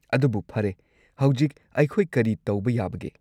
ꯑꯗꯨꯕꯨ ꯐꯔꯦ, ꯍꯧꯖꯤꯛ ꯑꯩꯈꯣꯏ ꯀꯔꯤ ꯇꯧꯕ ꯌꯥꯕꯒꯦ?